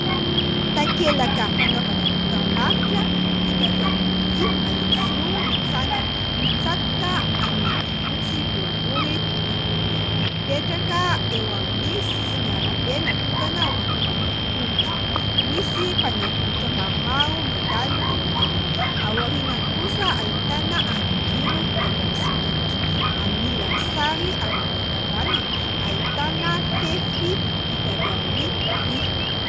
Takelaka fanaovana dokambarotra vita avy amin'ny vy mahitsizoro mitsangana, mitsatoka amin'ny vy fotsy boribory tokana, mipetraka eo amin'ny sisin'ny arabe natokana ho an'ny mpandeha tongotra. Misy mpandeha tongotra maromaro mandalo eo akaikiny. Aorianany kosa ahitana andrinjiro vita avy amin'ny simenitra. Amin'ny ilan'ny sary avy amin'ny ankavanana ahitana fefy vita avy amin'ny vy.